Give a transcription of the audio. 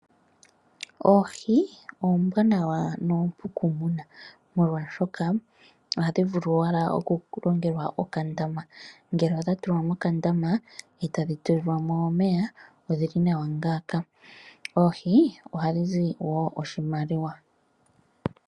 Oohi oombwaanawa noompu kumuna molwaashoka ohadhi vulu okulongelwa okandama ngele odha tulwa mo mokandama etadhi tulilwa mo omeya, odhili nawa ngaaka. Oohi ohadhi zi woo oshimaliwa.